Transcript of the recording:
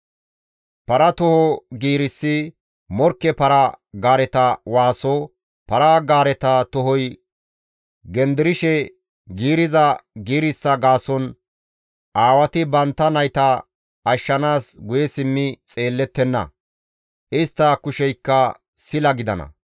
Para toho giirissi morkke para-gaareta waaso, para-gaareta tohoy genderishe giiriza giirissa gaason aawati bantta nayta ashshanaas guye simmi xeellettenna; istta kusheykka sila gidana.